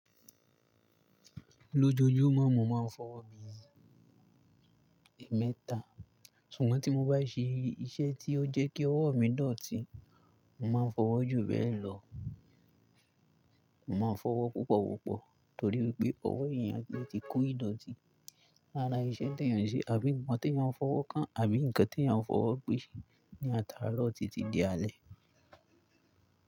Lójoojúmọ́ mo máa ń fọwọ́ mi ẹ̀mẹ́ta, ṣùgbọ́n tí mo bá ṣe iṣẹ́ tí ó jẹ́ kí ọwọ́ mi dọ̀tí mo máa ń fọwọ́ jùbẹ́lọ. Mò máa ń fọwọ́ púpọ̀ wọ́pọ̀ torí wi pé ọwọ́ èèyàn lè ti ko ìdọ̀tí lára iṣẹ́ tí èèyàn ṣe àbí ǹkan tí èèyàn fọwọ́ kàn àbí ǹkan tí eeyan fọwọ́ pèṣe ní ataárọ́ tìti di alẹ́.